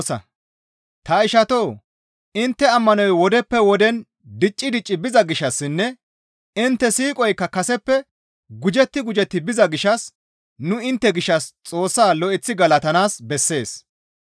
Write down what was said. Ta ishatoo! Intte ammanoy wodeppe woden dicci dicci biza gishshassinne intte siiqoykka kaseppe gujetti gujetti biza gishshas nu intte gishshas Xoossa lo7eththi galatanaas bessees.